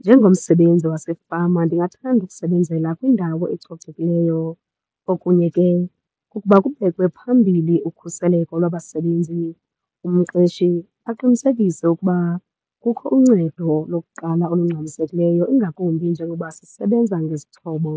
Njengomsebenzi wasefama ndingathanda ukusebenzela kwindawo ecocekileyo. Okunye ke kukuba kubekwe phambili ukhuseleko lwabasebenzi, umqeshi aqinisekise ukuba kukho uncedo lokuqala olungxamisekileyo, ingakumbi njengoba sisebenza ngezixhobo